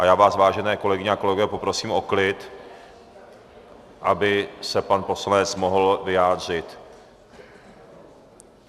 A já vás, vážené kolegyně a kolegové, poprosím o klid, aby se pan poslanec mohl vyjádřit.